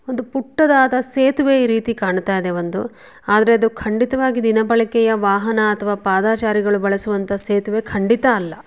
ಸೇತುವೆ ರೀತಿಯಲ್ಲಿ ಕಾಣ್ತಾ ಇದೆ ಒಂದು ಆದರೆ ಅದು ಖಂಡಿತವಾಗಿ ದಿನ ಬಳಕೆಯ ವಾಹನ ಅಥವಾ ಪಾದಾಚಾರಿಗಳು ಬಳಸುವಂತಹ ಸೇತುವೆ ಕಂಡಿತ ಅಲ್ಲ